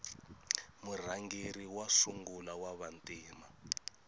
murhangeri wa sungula wava ntima